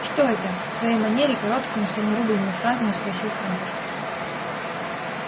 что это в своей манере короткими словно рублеными фразами спросил хантер